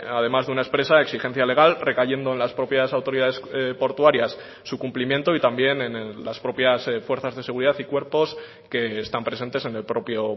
además de una expresa exigencia legal recayendo en las propias autoridades portuarias su cumplimiento y también en las propias fuerzas de seguridad y cuerpos que están presentes en el propio